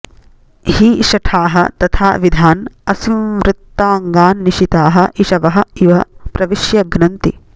हि शठाः तथा विधान् असंवृताङ्गान् निशिताः इषवः इव प्रविश्य घ्नन्ति